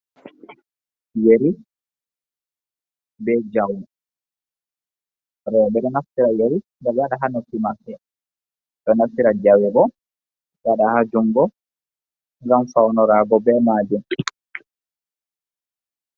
Yeri ɓe jawe rewɓe ɗo naftira ɓe yeri ɗo ɓe do waɗa ha noppi maɓɓe ,ɓe naffira jawe ɓo waɗa ha jungo gam faunarago ɓe majum.